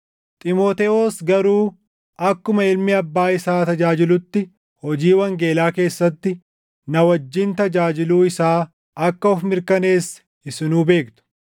Xiimotewos garuu akkuma ilmi abbaa isaa tajaajilutti hojii wangeelaa keessatti na wajjin tajaajiluu isaa akka of mirkaneesse isinuu beektu.